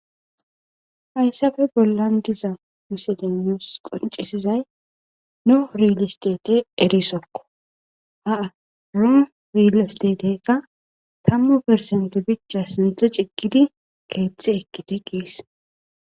Hayisafe bolan diza misiley nus qoncisizay neio relelestike erisoko ha relistetikka keththe cigidi keththe ekite ges